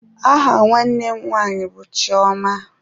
Aha nwanne m nwanyị bụ Chioma.